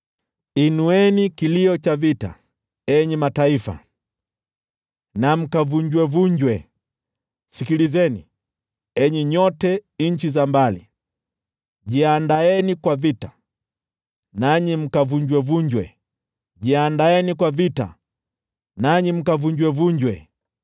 Inueni kilio cha vita, enyi mataifa, na mkavunjwevunjwe! Sikilizeni, enyi nyote nchi za mbali. Jiandaeni kwa vita, nanyi mkavunjwevunjwe! Jiandaeni kwa vita, nanyi mkavunjwevunjwe!